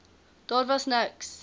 daar was niks